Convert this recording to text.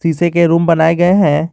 से के रूम बनाए गए हैं।